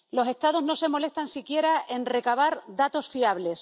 Los Estados no se molestan siquiera en recabar datos fiables.